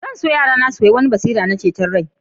Zan so yarana su ƙoya wasu basira na ceton rai.